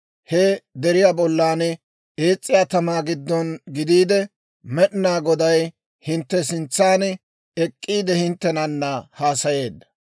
He deriyaa bollan ees's'iyaa tamaa giddon gidiide, Med'inaa Goday hintte sintsaan ek'k'iide hinttenana haasayeedda.